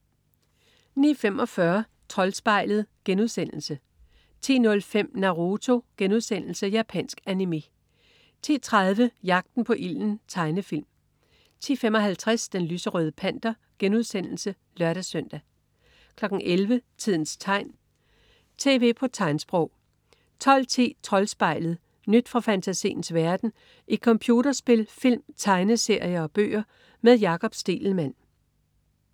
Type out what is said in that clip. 09.45 Troldspejlet* 10.05 Naruto.* Japansk animé 10.30 Jagten på ilden. Tegnefilm 10.55 Den lyserøde Panter* (lør-søn) 11.00 Tidens tegn, tv på tegnsprog 12.10 Troldspejlet. Nyt fra fantasiens verden i computerspil, film, tegneserier og bøger. Med Jakob Stegelmann